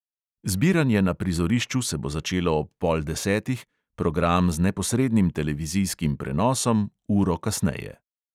Zbiranje na prizorišču se bo začelo ob pol desetih, program z neposrednim televizijskim prenosom uro kasneje.